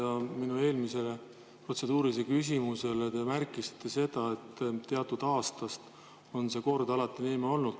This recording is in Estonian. Vastuseks minu eelmisele protseduurilisele küsimusele te märkisite seda, et teatud aastast on see kord alati niimoodi olnud.